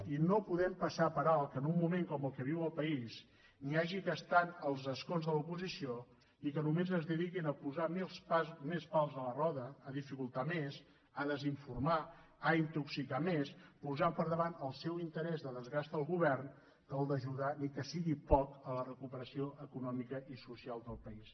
i no podem passar per alt que en un moment com el que viu el país n’hi hagi que estan als escons de l’oposició i que només es dediquin a posar més pals a la roda a dificultar més a desinformar a intoxicar més posant per davant el seu interès de desgast al govern que el d’ajudar ni que sigui poc a la recuperació econòmica i social del país